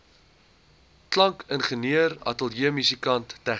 klankingenieur ateljeemusikant tegnikus